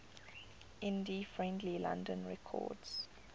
indie friendly london records